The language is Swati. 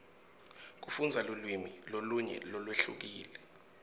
kufundza lulwimi lolunye lolwehlukile